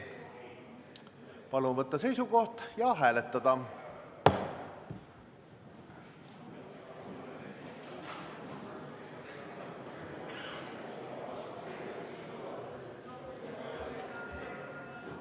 Palun võtta seisukoht ja hääletada!